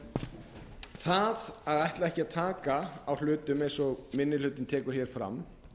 ljósara það að ætla ekki að taka á hlutum eins og minni hlutinn tekur hér fram